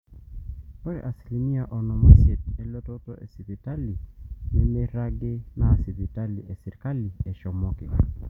ore asilimia onom oisiet elototo esipitali nemeiragi naa sipitali esirkali eshomoki